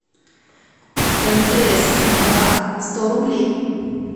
мтс брат сто рублей